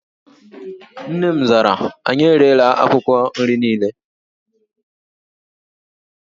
Nne m zara, anyị erela akwụkwọ nri niile